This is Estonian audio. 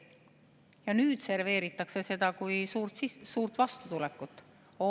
Ja nüüd serveeritakse seda kui suurt vastutulekut.